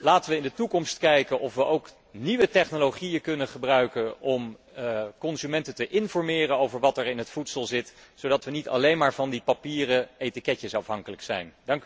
Laten we in de toekomst kijken of we ook nieuwe technologieën kunnen gebruiken om consumenten te informeren over wat er in het voedsel zit, zodat we niet alleen maar van die papieren etiketjes afhankelijk zijn.